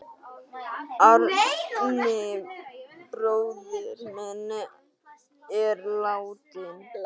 Árni bróðir minn er látinn.